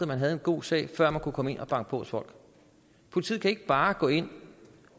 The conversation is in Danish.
man havde en god sag før man kunne gå hen og banke på hos folk politiet kan ikke bare gå ind